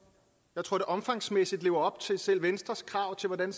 jeg tror at det omfangsmæssigt lever op til selv venstres krav til hvordan